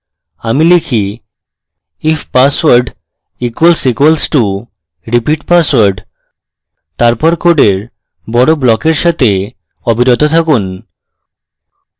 আমি লিখি if password equals equals to repeat password তারপর code বড় ব্লকের সাথে অবিরত থাকুন